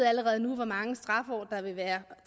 allerede nu ved hvor mange straffeår der vil være